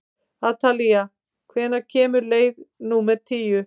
Atalía, hvenær kemur leið númer tíu?